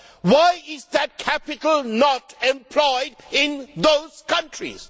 Why is that capital not employed in those countries?